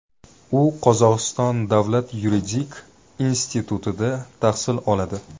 U Qozog‘iston davlat yuridik institutida tahsil oladi.